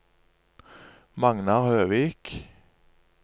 Magnar Høvik